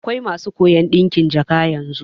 Akwai masu koyan ɗinkin jaka yanzu